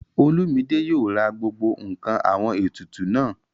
Olúmidé yóò ra gbogbo ǹkan àwọn ètùtù náà